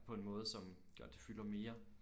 På en måde som gør at det fylder mere